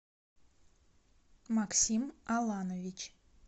максим аланович